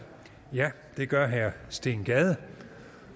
ja det gør herre steen gade